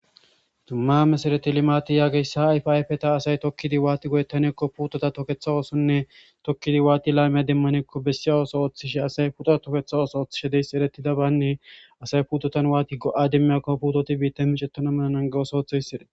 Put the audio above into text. Dumma mesareti limati yaageyssa ayfayfeta asay tokkidi waati godettanekko putota toketha oosonne tokkidi waati laymiya demmanekko bessiy ooso ooththishe asay putoa toketha ooso ooththishe deys eretida baynne asay putotan waati go'a demmiyakko putoti biitta micettona melanan gawoso oothoyssi erei.